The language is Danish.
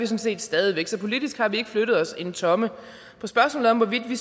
set stadig væk så politisk har vi ikke flyttet os en tomme på spørgsmålet om hvorvidt vi